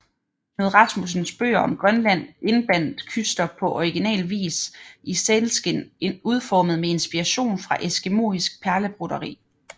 Knud Rasmussens bøger om Grønland indbandt Kyster på original vis i sælskind udformet med inspiration fra eskimoisk perlebroderi